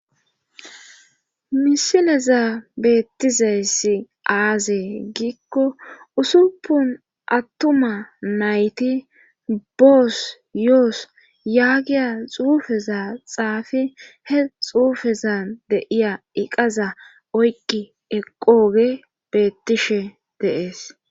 misileza beettizayssi aazee giikko usuppun attuma nayti boos yoos yaagiya xuufeza xaafi he xuufezan de7iya iqaza oyqqi eqqoogee beettishe de7ees.